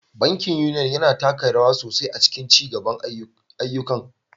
Bankin Union, yana taka rawa sosai a cikin ayyukan ci gaban al'umma.